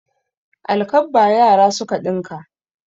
Alkabba yara suka ɗinka.